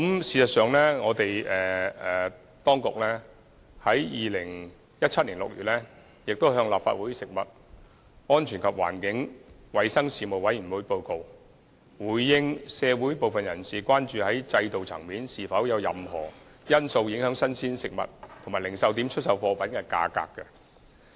事實上，當局在2017年6月已向立法會食物安全及環境衞生事務委員會作出報告，回應社會部分人士提出的關注，探討是否有任何制度層面的因素會影響新鮮食物及零售點出售貨品的價格。